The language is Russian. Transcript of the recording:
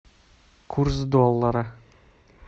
курс доллара